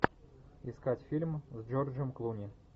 искать фильм с джорджем клуни